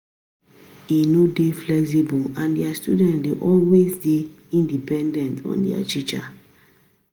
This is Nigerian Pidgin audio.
E no dey flexible and di students dey always dey dependent on their teacher